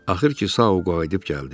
Axır ki, Sau qayıdıb gəldi.